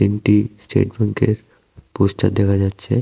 এংটি state ব্যাংকের poster দেখা যাচ্ছে।